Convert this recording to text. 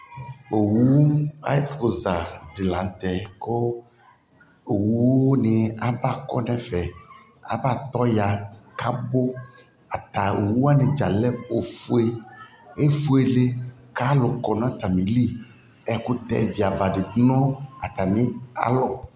Owu ayɛ fu za lantɛ kʋ owu dι aba kɔ nɛ fɛAba tɔ ya kabu Ata owu wani dza alɛ ofueEfuele kalu kɔ nata mi liƐkutɛ dza ba dι nu ata mia lɔ